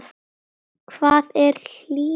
Hvað er hlýnun jarðar?